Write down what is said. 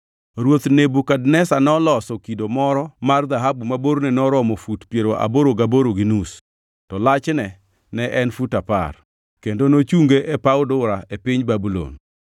Ruoth Nebukadneza noloso kido moro mar dhahabu ma borne noromo fut piero aboro gaboro gi nus, to lachne ne en fut apar, kendo nochunge e paw Dura e piny Babulon.